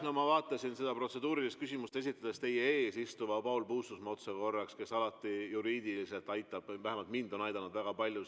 No ma vaatasin seda protseduurilist küsimust kuulates otsa korraks teie ees istuvale Paul Puustusmaale, kes alati juriidiliselt aitab, vähemalt mind on aidanud siin väga palju.